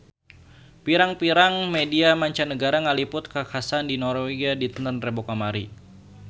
Pirang-pirang media mancanagara ngaliput kakhasan di Norwegia dinten Rebo kamari